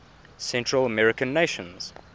central american nations